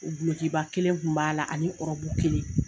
Gulokiba kelen kun b'a la ani ɔrɔbu kelen